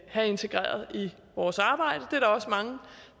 have integreret i vores arbejde det er der også mange